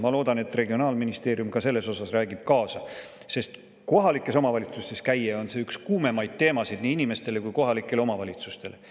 Ma loodan, et regionaalministeerium räägib kaasa ka selles osas, sest kui kohalikes omavalitsustes käia, see on üks kuumemaid teemasid nii inimestele kui kohalikele omavalitsustele.